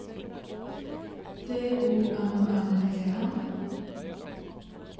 D O M M E N